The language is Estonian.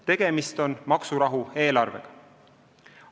Tegemist on maksurahu eelarvega.